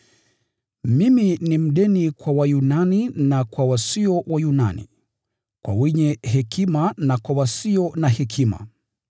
Mimi ni mdeni kwa Wayunani na kwa wasio Wayunani, kwa wenye hekima na kwa wasio na hekima.